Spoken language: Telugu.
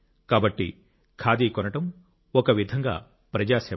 కాబట్టి ఖాదీ కొనడం ఒక విధంగా ప్రజా సేవ